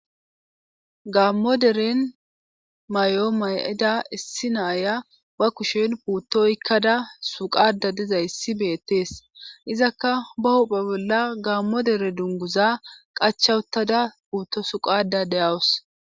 Gamo deren may7o may7ida issi naaya ba kushen puutto ykkada suqada dizayssi beettees izakka ba huphe bolla gaammodere dunguza qachawutada puutto suqada deyawus.